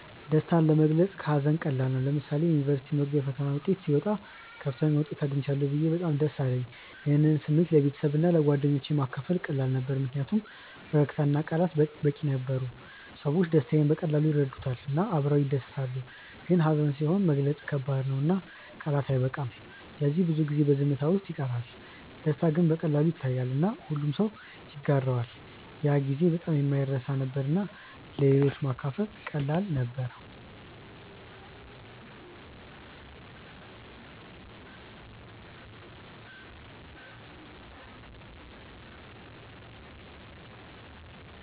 ደስታ ለመግለጽ ከሀዘን ቀላል ነው። ለምሳሌ የዩኒቨርሲቲ መግቢያ ፈተና ውጤት ሲወጣ ከፍተኛ ውጤት አግኝቻለሁ ብዬ በጣም ደስ አለኝ። ይህን ስሜት ለቤተሰብና ለጓደኞቼ ማካፈል ቀላል ነበር ምክንያቱም ፈገግታ እና ቃላት በቂ ነበሩ። ሰዎች ደስታዬን በቀላሉ ይረዱታል እና አብረው ይደሰታሉ። ግን ሀዘን ሲሆን መግለጽ ከባድ ነው እና ቃላት አይበቃም ስለዚህ ብዙ ጊዜ በዝምታ ውስጥ ይቀራል። ደስታ ግን በቀላሉ ይታያል እና ሁሉም ሰው ይጋራዋል። ያ ጊዜ በጣም የማይረሳ ነበር እና ለሌሎች ማካፈል ቀላል ነበር።